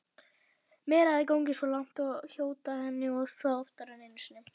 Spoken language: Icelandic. Meira að segja gengið svo langt að hóta henni og það oftar en einu sinni.